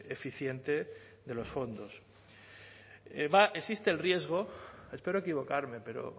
eficiente de los fondos existe el riesgo espero equivocarme pero